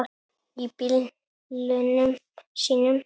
Í bílunum sínum.